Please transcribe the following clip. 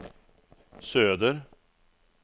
söder